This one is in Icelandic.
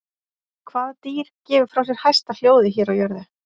Hvað dýr gefur frá sér hæsta hljóðið hér á jörðu?